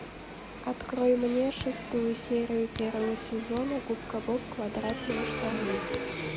открой мне шестую серию первого сезона губка боб квадратные штаны